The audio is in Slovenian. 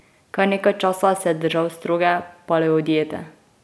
Kar nekaj časa se je držal stroge paleodiete.